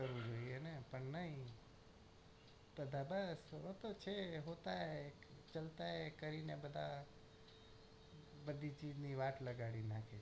કરવું જોઈએ ને પણ ની તારા દાદા છે ને હોતા હે ચાલતા હે કહીના પતા બધી ચીજની વાટ લગાડી નાખે